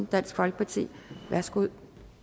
dansk folkeparti værsgo